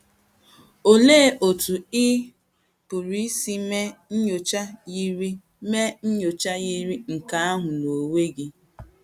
Olee otú ị pụrụ isi mee nnyocha yiri mee nnyocha yiri nke ahụ n’onwe gị?